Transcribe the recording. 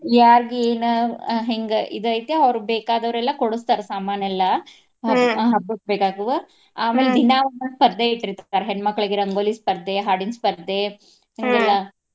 ಯಾರ್ಗ್ ಏನ ಆ ಹೆಂಗ ಇದ್ ಐತೆ ಅವ್ರ್ ಬೇಕಾದವ್ರೆಲ್ಲಾ ಕೊಡಸ್ತಾರ ಸಾಮಾನೆಲ್ಲಾ. ಹಬ್ಬಕ್ಕ ಬೇಕಾಗುವ ದಿನಾ ಒಂದೊಂದ್ ಸ್ಪರ್ದೆ ಇಟ್ಟಿರ್ತಾರ್. ಹೆಣ್ಮಕ್ಳಿಗೆ ರಂಗೋಲಿ ಸ್ಪರ್ದೆ, ಹಾಡಿನ ಸ್ಪರ್ದೆ .